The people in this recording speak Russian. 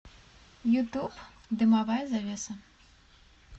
ютуб дымовая завеса